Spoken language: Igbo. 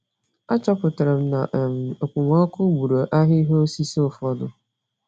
Achọpụtara m na um okpomọkụ gburu ahịhịa osisi ụfọdụ